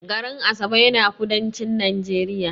garin Asaba yana kudancin Najeriya